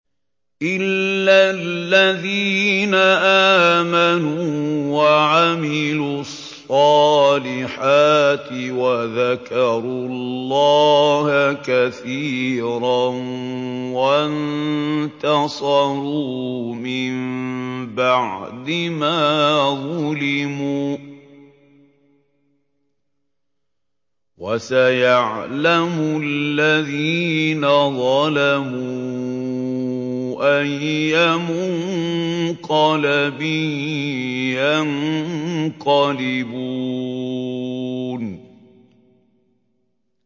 إِلَّا الَّذِينَ آمَنُوا وَعَمِلُوا الصَّالِحَاتِ وَذَكَرُوا اللَّهَ كَثِيرًا وَانتَصَرُوا مِن بَعْدِ مَا ظُلِمُوا ۗ وَسَيَعْلَمُ الَّذِينَ ظَلَمُوا أَيَّ مُنقَلَبٍ يَنقَلِبُونَ